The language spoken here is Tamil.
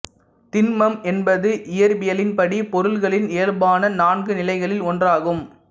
திண்மம் என்பது இயற்பியலின்படி பொருள்களின் இயல்பான நான்கு நிலைகளில் ஒன்றாகும்